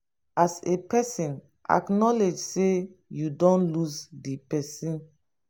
as a person acknowledge sey you don lose di person